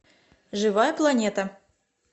живая планета